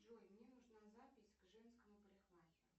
джой мне нужна запись к женскому парикмахеру